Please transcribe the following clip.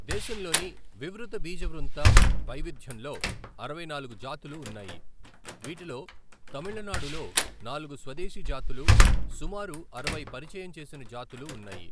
దేశంలోని వివృతబీజవృంత వైవిధ్యంలో అరవై నాలుగు జాతులు ఉన్నాయి, వీటిలో తమిళనాడులో నాలుగు స్వదేశీ జాతులు, సుమారు అరవై పరిచయం చేసిన జాతులు ఉన్నాయి.